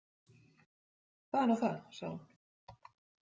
Það er nú það, sagði hún.